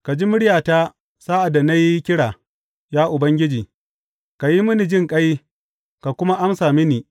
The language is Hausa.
Ka ji muryata sa’ad da na yi kira, ya Ubangiji; ka yi mini jinƙai ka kuma amsa mini.